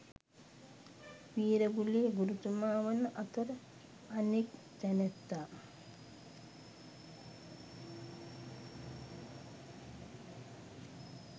වීරගුලේ ගුරුතුමා වන අතර අනෙක් තැනැත්තා